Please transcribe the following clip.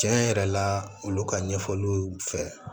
Tiɲɛ yɛrɛ la olu ka ɲɛfɔliw fɛ